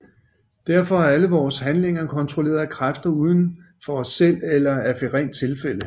Derfor er alle vores handlinger kontrolleret af kræfter uden for os selv eller af rent tilfælde